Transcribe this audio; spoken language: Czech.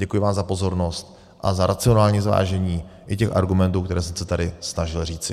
Děkuji vám za pozornost a za racionální zvážení i těch argumentů, které jsem se tady snažil říci.